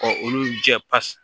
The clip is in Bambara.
Ka olu jɛ pasi